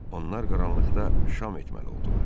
Onlar qaranlıqda şam etməli oldular.